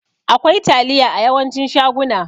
Akwai taliya a yawancin shaguna.